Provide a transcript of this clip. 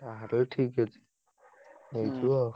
ହଉ ଠିକ ଅଛି। ନେଇଯିବ।